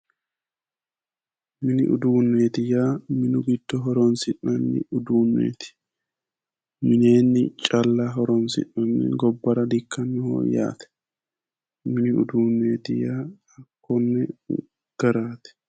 mini uduunneeti yaa minu giddo horonsi'nanni mini uduunneeti minenni calla horonsi'nanni gobbara di''ikkannoho yaate mini uduunneeti yaa konne garaati.